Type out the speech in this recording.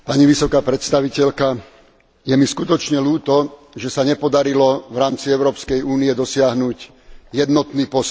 Je mi skutočne ľúto, že sa nepodarilo v rámci Európskej únie dosiahnuť jednotný postoj.